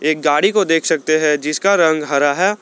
एक गाड़ी को देख सकते हैं जिसका रंग हरा है।